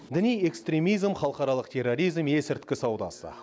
діни экстремизм халықаралық терроризм есірткі саудасы